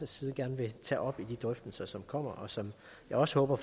side gerne vil tage op i de drøftelser som kommer og som jeg også håber